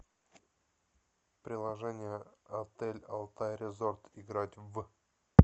приложение отель алтай резорт играть в